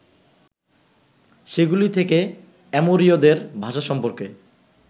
সেগুলি থেকে অ্যামোরীয়দের ভাষা সম্পর্কে